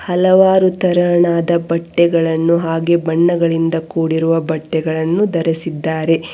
ಹಲವಾರು ತರಹಣದ ಬಟ್ಟೆಗಳನ್ನು ಹಾಗೆ ಬಣ್ಣಗಳಿಂದ ಕೂಡಿರುವ ಬಟ್ಟೆಗಳನ್ನು ಧರಿಸಿದ್ದಾರೆ.